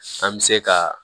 An bɛ se ka